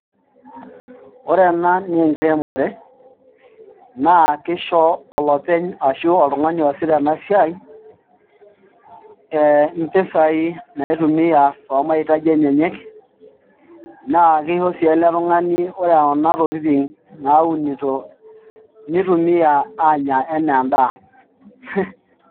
Ore ena naa enkiremore naa kisho olopeny ashu oltung'ani oosita ena siai ee mpisaai naitumia too maitaji enyenak naa kisho sii ele tung'ani oota Kuna tokitin naunito nitumiaa aanya ena edaa.